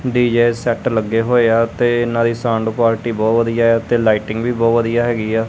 DJ set ਲੱਗੇ ਹੋਏ ਆ ਤੇ ਇਹਨਾਂ ਦੀ ਸਾਊਂਡ ਕੁਆਲਿਟੀ ਬਹੁਤ ਵਧੀਆ ਐ ਤੇ ਲਾਈਟਿੰਗ ਵੀ ਬਹੁਤ ਵਧੀਆ ਹੈਗੀ ਆ।